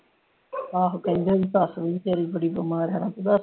ਆਹੋ ਕਹਿੰਦੇ ਨੇ ਓਹਦੀ ਸੱਸ ਵੀ ਬਚਾਰੀ ਬੜੀ ਬਿਮਾਰ ਹੈ